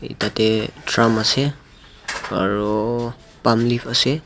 tate drum ase aro pulm leave ase.